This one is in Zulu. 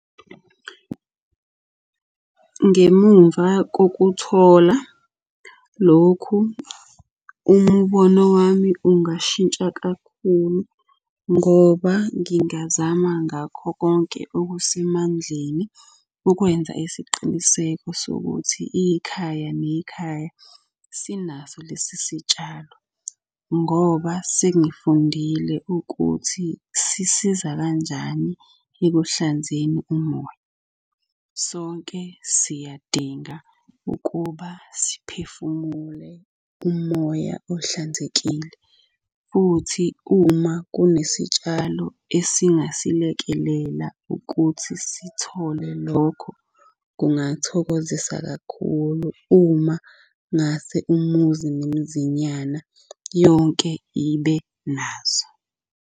Ngemumva kokuthola lokhu, umbono wami ungashintsha kakhulu ngoba ngingazama ngakho konke okusemandleni ukwenza isiqiniseko sokuthi ikhaya nekhaya sinaso lesi sitshalo. Ngoba sengifundile ukuthi sisiza kanjani ekuhlanzeni umoya. Sonke siyadinga ukuba siphefumule umoya ohlanzekile, futhi uma kunesitshalo esingasilekelela ukuthi sithole lokho, kungathokozisa kakhulu uma ngase umuzi nomuzinyana yonke ibe naso.